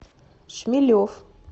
шмелев